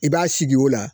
I b'a sigi o la